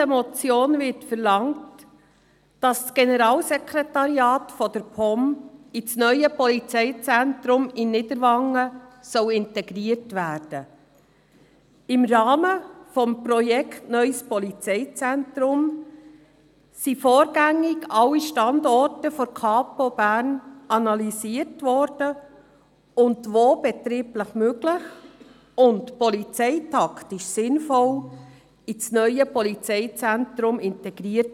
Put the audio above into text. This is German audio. Im Rahmen des Projekts des neuen Polizeizentrums wurden vorgängig alle Standorte der Polizei Bern analysiert und wo betrieblich möglich und polizeitaktisch sinnvoll in das neue Polizeizentrum integriert.